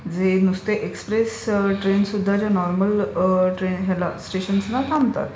जे नुसते express trains ते नुसत्या नॉर्मल स्टेशन्सना थांबतात.